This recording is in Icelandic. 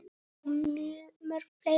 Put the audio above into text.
Og mörg fleiri.